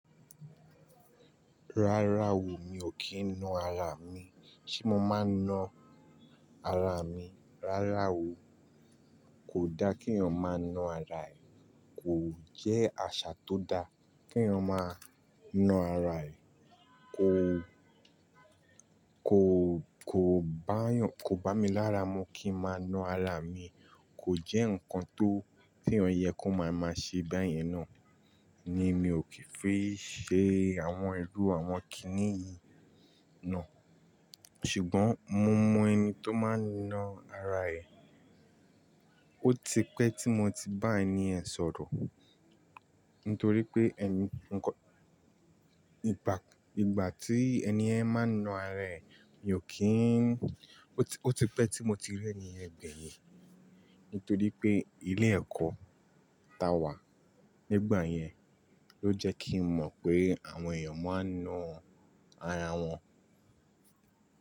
Rárá o, mi ò kí ń na ara mi. Ṣé mo máa na ara mi? Rárá o. Kò dá k'eyan máa na ara ẹ. Kò jẹ́ àṣà tó da k'eyan máa na ara ẹ. Kò, kò, kò bá mi lára mu kí n máa na ara mi. Kò jẹ́ nǹkan tó tí ẹeyan yẹ kó máa ṣe báyẹn ná. Ni mi ò kì í fi ṣe àwọn irú àwọn kìíníyi náà. Ṣùgbọ́n mo mọ ẹni tó máa ń na ara ẹ. Ó ti pẹ́ tí mo ti bá ẹni yẹ̀n sọ̀rọ̀. Nítorí pé ẹni, ìgbà tí ẹni yẹ́n máa ń na ara ẹ, mi ò kí ń Ó ti pẹ́ tí mo ti rí ẹni ẹ̀ gbẹ̀yìn. Nítorí pé ilé ẹ̀kọ́ ta wà nígbà yẹn ló jẹ́ kí n mọ̀ pé àwọn èèyàn máa ń na ara wọn.